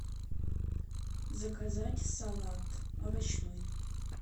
заказать салат овощной